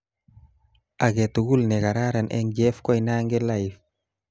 Aketugul nekararan eng Jeff Koinange live